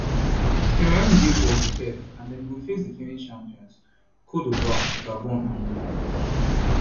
cameroon dey for group f and dem go face defending champions cte divoire gabon and mozambique